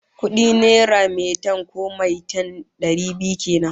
Kudi naira metan, ko maitan, dari biyu kenan